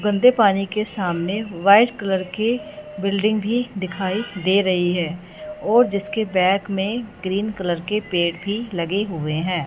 गंदे पानी के सामने व्हाइट कलर के बिल्डिंग भी दिखाई दे रही है और जिसके बैक में ग्रीन कलर के पेड़ भी लगे हुए हैं।